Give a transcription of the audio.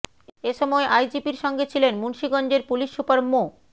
এ সময় আইজিপির সঙ্গে ছিলেন মুন্সীগঞ্জের পুলিশ সুপার মো